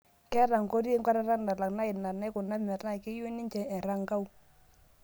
Keeta Nkoti enkwatata nalak naa ina naikuna metaa keyieu ninje Erankau